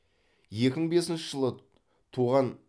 екі мың бесінші жылы туған